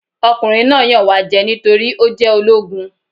Ọkùnrin náà yàn wá jẹ nítorí ó jẹ́ ológun.